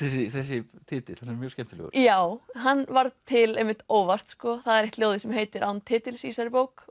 þessi titill hann er mjög skemmtilegur já hann varð til einmitt óvart það er eitt ljóðið sem heitir án titils í þessari bók